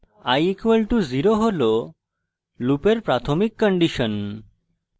i = 0 হল লুপের প্রাথমিক condition